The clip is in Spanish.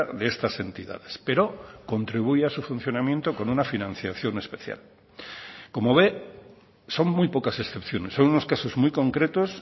de estas entidades pero contribuye a su funcionamiento con una financiación especial como ve son muy pocas excepciones son unos casos muy concretos